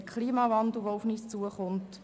Der Klimawandel kommt auf uns zu.